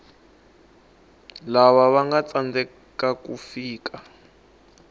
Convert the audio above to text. lava vanga tsandzeka ku fika